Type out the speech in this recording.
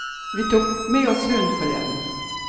Vi tok med oss hunden forleden.